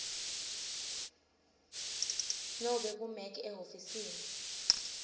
nobe kumec ehhovisi